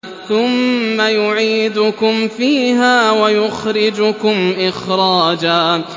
ثُمَّ يُعِيدُكُمْ فِيهَا وَيُخْرِجُكُمْ إِخْرَاجًا